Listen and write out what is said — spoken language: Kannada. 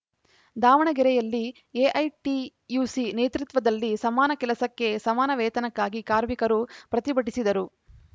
ದಾವಣಗೆರೆಯಲ್ಲಿ ಎಐಟಿಯುಸಿ ನೇತೃತ್ವದಲ್ಲಿ ಸಮಾನ ಕೆಲಸಕ್ಕೆ ಸಮಾನ ವೇತನಕ್ಕಾಗಿ ಕಾರ್ಮಿಕರು ಪ್ರತಿಭಟಿಸಿದರು